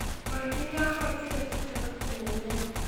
Mwangi nĩ ahootire kĩheo kĩnene.